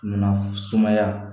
Na suma sumaya